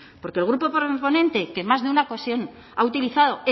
porque el grupo proponente que en más de una ocasión ha utilizado